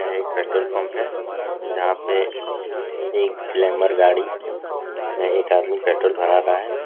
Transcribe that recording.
यह एक petrol pump है । जहाँ पे एक ग्लैमर गाड़ी में एक आदमी पेट्रोल भरा रहा है ।